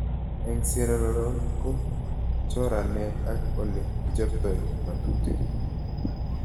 Eng' Sierra Leon ko choranet ak ole kichoptoi ng'atutik